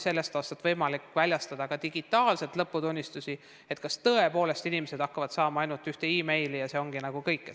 Sellest aastast on võimalik väljastada lõputunnistusi ka digitaalselt ja on küsitud, kas tõepoolest noored inimesed hakkavad saama ainult ühe meili, ja see ongi nagu kõik.